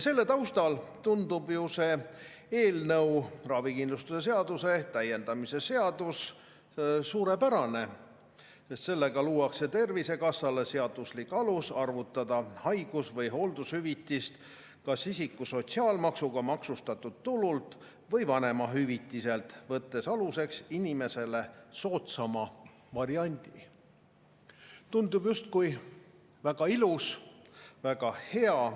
Selle taustal tundub ju see eelnõu, ravikindlustuse seaduse täiendamise seadus suurepärane, sest sellega "luuakse Tervisekassale seaduslik alus arvutada haigus- või hooldushüvitist kas isiku sotsiaalmaksuga maksustatud tulult või vanemahüvitiselt, võttes aluseks inimesele soodsama variandi", justkui väga ilus, väga hea.